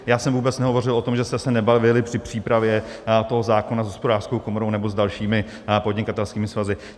Já jsem vůbec nehovořil o tom, že jste se nebavili při přípravě toho zákona s Hospodářskou komorou nebo s dalšími podnikatelskými svazy.